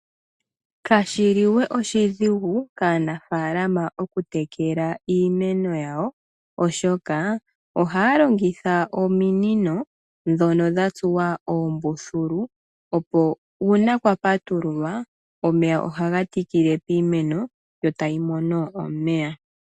Kashiliwe oshidhigu kaanafalama okutekela iimeno yawo, oshoka ohaya longitha ominino ndhono dha tsuwa oombululu opo uuna kwa patululwa omeya ohaga tikile piimeno yo tayi moni omeya.